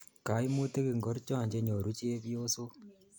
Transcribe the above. Kaimutik ingorcho che nyoru chepyosok?